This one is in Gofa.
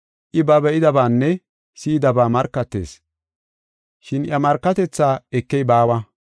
I ba be7idabaanne si7idaba markatees, shin iya markatethaa ekey baawa.